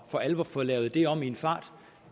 for alvor at få lavet det om i en fart